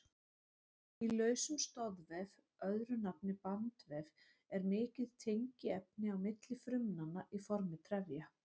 Í lausum stoðvef, öðru nafni bandvef, er mikið tengiefni á milli frumnanna í formi trefja.